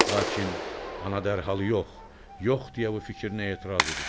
Lakin ana dərhal yox, yox deyə bu fikrinə etiraz edir.